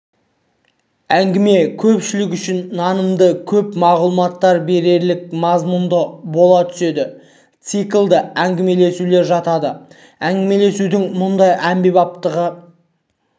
әңгіме көпшілік үшін нанымды көп мағлұмат берерлік мазмұнды бола түседі циклді әңгімелесулер жатады әңгімелесудің мұндай әмбебаптығы